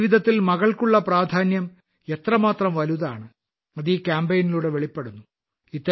ജീവിതത്തിൽ മകൾക്കുള്ള പ്രാധാന്യം എത്രമാത്രം വലുതാണ് അത് ഈ കാമ്പയിനിലൂടെ വെളിപ്പെടുന്നു